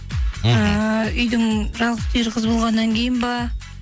ыыы үйдің жалғыз түйір қызы болғаннан кейін ба